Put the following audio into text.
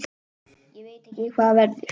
Ég veit ekki hvað verður.